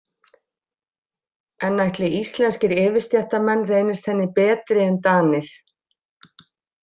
En ætli íslenskir yfirstéttarmenn reynist henni betri en Danir?